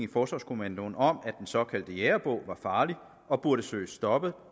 i forsvarskommandoen om at den såkaldte jægerbog var farlig og burde søges stoppet